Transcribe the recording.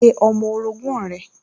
Pe ọmọ orogún rẹ̀